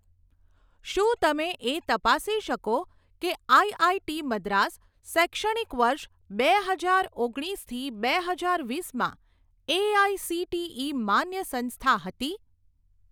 શું તમે એ તપાસી શકો કે આઈઆઈટી મદ્રાસ શૈક્ષણિક વર્ષ બે હજાર ઓગણીસથી બે હજાર વીસમાં એઆઇસીટીઇ માન્ય સંસ્થા હતી?